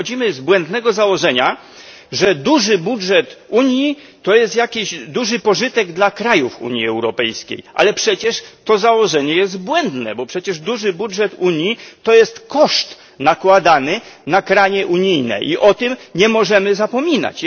My wychodzimy z błędnego założenia, że duży budżet Unii to jest duży pożytek dla krajów Unii Europejskiej, ale to założenie jest błędne, bo przecież duży budżet Unii to jest koszt nakładany na kraje unijne, i o tym nie możemy zapominać.